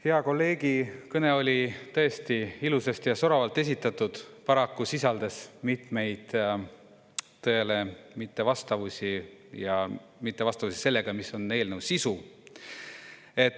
Hea kolleegi kõne oli tõesti ilusasti ja soravalt esitatud, paraku sisaldas mitmeid tõele mittevastavusi ja mittevastavusi sellega, mis on eelnõu sisu.